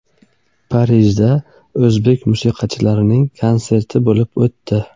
Parijda o‘zbek musiqachilarining konserti bo‘lib o‘tdi.